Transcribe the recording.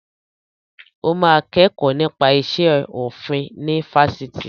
Ó máa kẹ́kọ̀ọ́ nípa iṣẹ́ orin ní Fáṣítì.